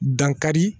Dankari